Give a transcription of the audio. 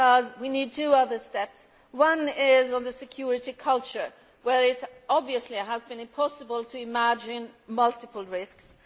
We need two other steps. One is on the security culture, where it obviously has been impossible to envisage multiple risks.